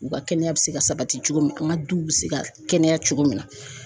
U ka kɛnɛya be se ka sabati cogo min , an ka duw be se ka kɛnɛya cogo min na.